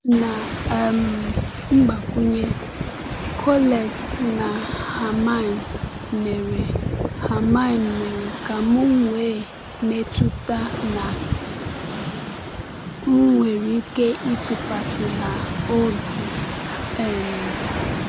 Na um mgbakwunye, Colette na Hermine mere Hermine mere ka m nwee mmetụta na m nwere ike ịtụkwasị ha obi. um